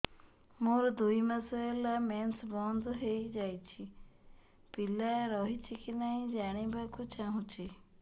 ମୋର ଦୁଇ ମାସ ହେଲା ମେନ୍ସ ବନ୍ଦ ହେଇ ଯାଇଛି ପିଲା ରହିଛି କି ନାହିଁ ଜାଣିବା କୁ ଚାହୁଁଛି